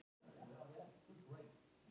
Gabríel